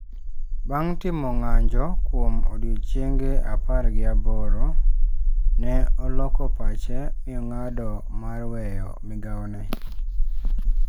Bang' timo ng'anjo kuom odiechienge apar gi aboro, ne oloko pache mi ong'ado mar weyo migawone.